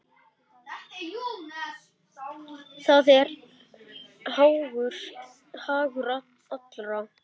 Það er hagur allra.